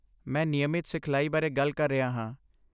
ਮੈਂ ਨਿਯਮਤ ਸਿਖਲਾਈ ਬਾਰੇ ਗੱਲ ਕਰ ਰਿਹਾ ਹਾਂ।